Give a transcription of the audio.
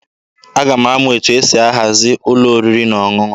Aga m amụ etu esi ahazi ụlọ oriri na ọṅụṅụ.